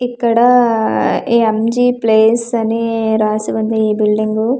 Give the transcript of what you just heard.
ఇక్కడ-డ-డ M G place అని రాసి ఉంది ఈ బిల్డింగ్ గూ--